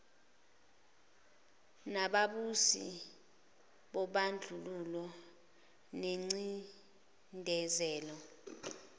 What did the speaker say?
nababusi bobandlululo nengcindezelo